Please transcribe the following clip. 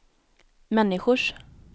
människors